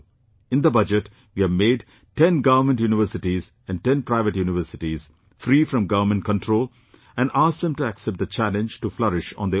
In the Budget, we have made 10 government universities and 10 private universities free from government control and asked them to accept the challenge to flourish on their own